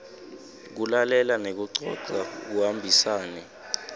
kulalela nekucoca kuhambisane